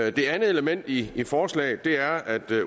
et andet element i forslaget er at